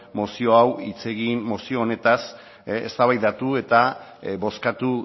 mozio hau hitz egin mozio honetaz eztabaidatu eta bozkatu